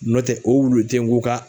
Nɔntɛ o wulu te yen k'u ka